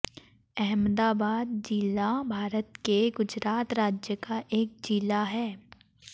अहमदाबाद ज़िला भारत के गुजरात राज्य का एक ज़िला है